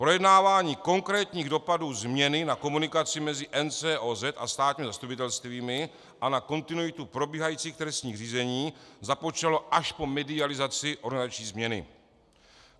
Projednávání konkrétních dopadů změny na komunikaci mezi NCOZ a státními zastupitelstvími a na kontinuitu probíhajících trestních řízení započalo až po medializaci organizační změny.